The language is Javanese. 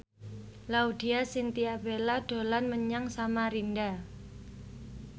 Laudya Chintya Bella dolan menyang Samarinda